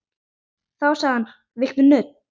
Þá sagði hann: Viltu nudd?